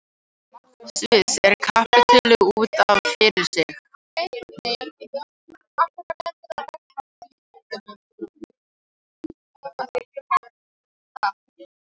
Sviss er kapítuli út af fyrir sig.